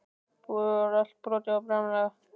Búið var allt brotið og bramlað.